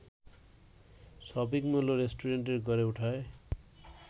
shopping mall ও restaurant গড়ে ওঠায়